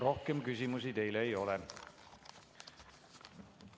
Rohkem küsimusi teile ei ole.